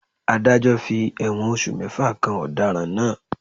Ádájọ́ fi ẹ̀wọ̀n oṣù mẹ́fà kan ọ̀daràn náà.